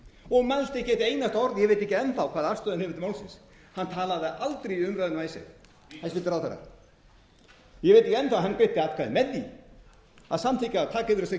og mælti ekki eitt einasta orð ég veit ekki enn þá hvaða afstöðu hann hefur til málsins hann talaði aldrei í umræðunni um icesave hæstvirtur ráðherra hann greiddi atkvæði með því að samþykkja það að taka yfir þessar